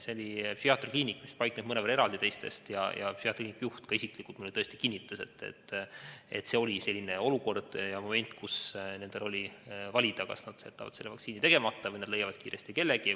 See oli psühhiaatriakliinik, mis paikneb teistest mõnevõrra eraldi, ja psühhiaatriakliiniku juht isiklikult kinnitas mulle, et see oli selline olukord ja moment, kus nendel oli valida, kas nad jätavad vaktsiini tegemata või nad leiavad kiiresti kellegi.